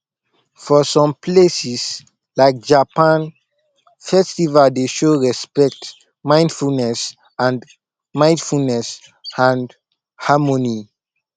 for some places like japan festival dey show respect mindfulness and mindfulness and harmony